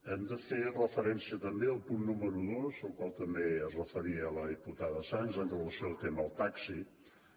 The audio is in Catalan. hem de fer referència també al punt número dos al qual també es referia la diputada sans en relació amb el tema del taxi que